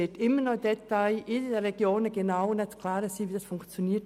Wie die Umsetzung funktioniert, wird in den Regionen immer noch im Detail zu klären sein.